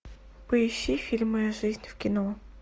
поищи фильм моя жизнь в кино